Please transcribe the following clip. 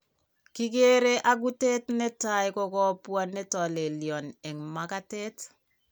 Kikeere agutet netaa ko kabwaa netolelyon eng' makatet